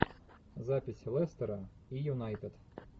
запись лестера и юнайтед